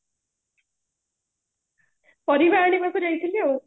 ପରିବା ଆଣିବାକୁ ଯାଇଥିଲି ଆଉ